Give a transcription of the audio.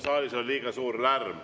Saalis on liiga suur lärm.